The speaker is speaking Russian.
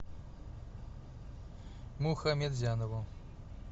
мухаметзянову